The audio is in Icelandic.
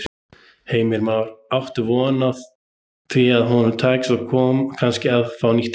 Heimir Már: Áttu von á því að honum takist kannski að fá nýtt heimili?